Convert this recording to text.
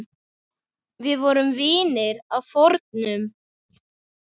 Við vorum vinir að fornu.